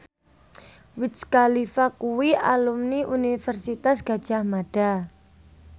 Wiz Khalifa kuwi alumni Universitas Gadjah Mada